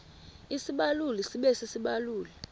isibaluli sibe sisibaluli